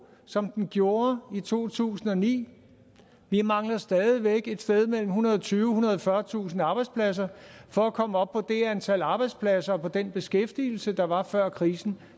som den gjorde i to tusind og ni vi mangler stadig væk et sted mellem ethundrede og tyvetusind og fyrretusind arbejdspladser for at komme op på det antal arbejdspladser og på den beskæftigelse der var før krisen